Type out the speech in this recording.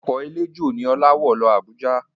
Ọkọ̀ eléjò ni Ọlá wọ̀ lọ Abuja